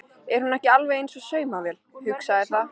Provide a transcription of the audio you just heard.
Er hún ekki alveg eins og saumavél, hugsaði það.